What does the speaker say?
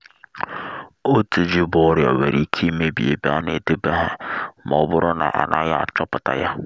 otu ji bu oria nwere ike emebi ebe a na-edebe ha ma ọ bụrụ na a naghị achọpụta ya